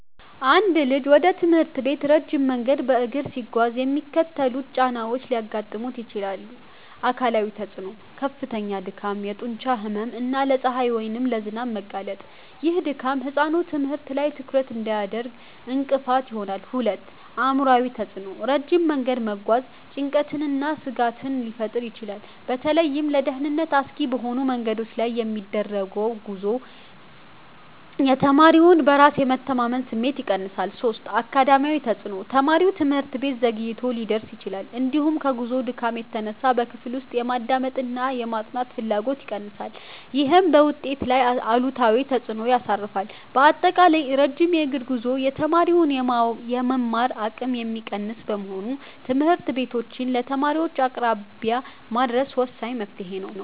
አንድ ልጅ ወደ ትምህርት ቤት ረጅም መንገድ በእግር ሲጓዝ የሚከተሉት ጫናዎች ሊያጋጥሙት ይችላል፦ 1. አካላዊ ተፅዕኖ፦ ከፍተኛ ድካም፣ የጡንቻ ህመም እና ለፀሐይ ወይም ለዝናብ መጋለጥ። ይህ ድካም ህጻኑ ትምህርት ላይ ትኩረት እንዳያደርግ እንቅፋት ይሆናል። 2. አእምሯዊ ተፅዕኖ፦ ረጅም መንገድ መጓዝ ጭንቀትንና ስጋትን ሊፈጥር ይችላል። በተለይም ለደህንነት አስጊ በሆኑ መንገዶች ላይ የሚደረግ ጉዞ የተማሪውን በራስ የመተማመን ስሜት ይቀንሳል። 3. አካዳሚያዊ ተፅዕኖ፦ ተማሪው ትምህርት ቤት ዘግይቶ ሊደርስ ይችላል፤ እንዲሁም ከጉዞው ድካም የተነሳ በክፍል ውስጥ የማዳመጥና የማጥናት ፍላጎቱ ይቀንሳል። ይህም በውጤቱ ላይ አሉታዊ ተፅዕኖ ያሳርፋል። ባጠቃላይ፣ ረጅም የእግር ጉዞ የተማሪውን የመማር አቅም የሚቀንስ በመሆኑ ትምህርት ቤቶችን ለተማሪዎች አቅራቢያ ማድረስ ወሳኝ መፍትሔ ነው።